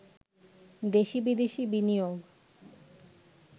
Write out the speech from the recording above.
দেশি-বিদেশি বিনিয়োগ